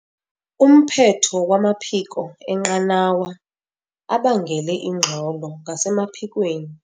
Umphetho wamaphiko enqanawa abangele ingxolo ngasemaphikweni.